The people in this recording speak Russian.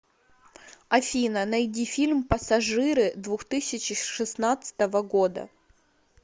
афина найди фильм пассажиры двух тысячи шестнадцатого года